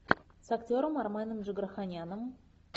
с актером арменом джигарханяном